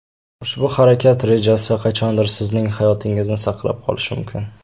Ushbu harakat rejasi qachondir sizning hayotingizni saqlab qolishi mumkin.